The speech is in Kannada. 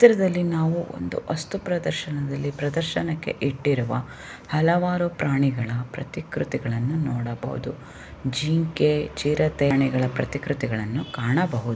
ಈ ಚಿತ್ರದಲ್ಲಿ ನಾವು ವಸ್ತು ಪ್ರದರ್ಶನದಲ್ಲಿ ಪ್ರದರ್ಶನಕ್ಕೆ ಇಟ್ಟಿರುವ ಹಲವರ ಪ್ರಾಣಿಗಳ ಪ್ರತಿಕೃತಿಗಳನ್ನು ನಾವು ನೋಡಬಹುದು. ಜಿಂಕೆ ಚಿರತೆ ಆನೆಗಳ ಪ್ರತಿಕೃತಿಗಳನ್ನು ಕಾಣಬಹುದು.